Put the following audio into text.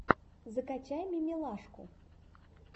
закачай мимилашку